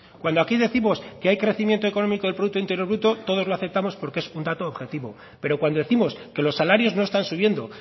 cuando aquí décimos que hay crecimiento económico del producto interior bruto todos lo aceptamos porque es un dato objetivo pero cuando décimos que los salarios no están subiendo